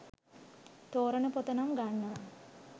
තෝරන පොත නම් ගන්නවා